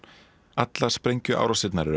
allar sprengjuárásirnar eru